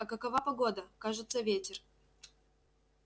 а какова погода кажется ветер